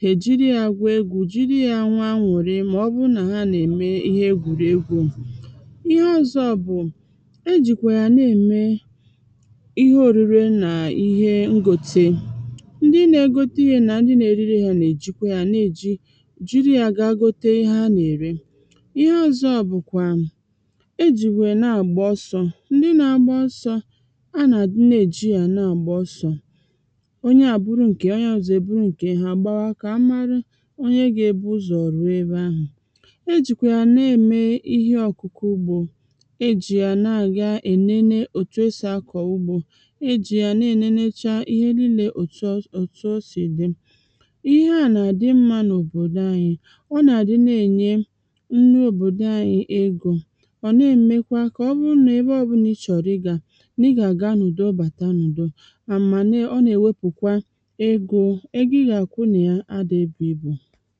hà èjiri ya gwù egwu̇, jiri ya nwee anụrị mà ọ bụrụ nà ha nà-ème ihe egwùregwu̇ ihe ọ̀zọ bụ̀ e jìkwà yà na-ème ihe orure nà ihe ngote ndị na-egote ihe nà ndị na-erire hȧ nà-èjikwa yȧ na-èji jiri yȧ gaa gote ihe ha nà-èri ihe ọ̀zọ bụ̀ kwa e jìwè na-àgba ọsọ̇ a nà à di na-èji yȧ na-àgba ọsọ̇ onye à buru ǹkè onye ọzọ̇ èburu ǹkè ha gbawa kà a mara onye gȧ-ėbu̇ ụzọ̀ ruo ebe ahụ̀ e jìkwà yà na-ème ihe ọ̀kụ̀kụ ugbȯ e jì yà na-àga ènene òtù esì akọ̀ ugbȯ e jì yà na-ènenecha ihe niile òtù o sì dị ihe à nà àdị mmȧ n’òbòdò anyị ọ nà àdị na-ènye nri òbòdò anyị egȯ ọ̀ na-èmekwa kà ọ bụ nà ebe ọbụna i chọ̀rọ̀ ịgȧ àmànà ọ nà-ènwepụ̀kwa egȯ egȯ ị gà-àkwụ nà ya adị̇ ebu̇ ịbụ̇